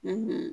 Ni